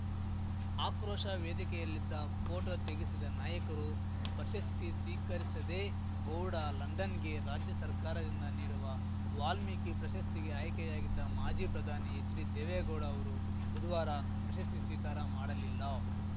ಆಕ್ರೋಶ ವೇದಿಕೆಯಲ್ಲಿದ್ದ ಪೋಟೋ ತೆಗೆಸಿದ ನಾಯಕರು ಪ್ರಶಸ್ತಿ ಸ್ವೀಕರಿಸದೆ ಗೋಡ ಲಂಡನ್‌ಗೆ ರಾಜ್ಯ ಸರ್ಕಾರದಿಂದ ನೀಡುವ ವಾಲ್ಮೀಕಿ ಪ್ರಶಸ್ತಿಗೆ ಆಯ್ಕೆಯಾಗಿದ್ದ ಮಾಜಿ ಪ್ರಧಾನಿ ಎಚ್‌ಡಿದೇವೇಗೌಡ ಅವರು ಬುಧವಾರ ಪ್ರಶಸ್ತಿ ಸ್ವೀಕಾರ ಮಾಡಲಿಲ್ಲ